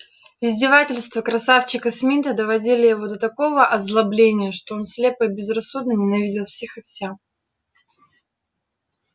издевательства красавчика смита доводили его до такого озлобления что он слепо и безрассудно ненавидел всех и вся